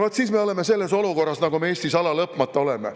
Vaat siis me oleme selles olukorras, nagu me Eestis alalõpmata oleme.